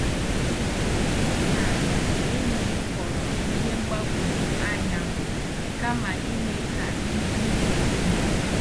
M na enyi m kọọrọ ihe mgbagwoju anya m kama ime ka ihe niile dị mma.